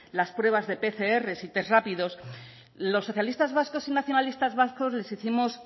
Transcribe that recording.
las pruebas de pcr y test rápidos los socialistas vascos y nacionalistas vascos les hicimos